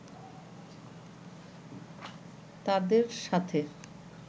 তাদের সাথে